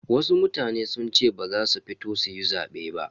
Wasu mutane sun ce ba za su fito suyi zabe ba.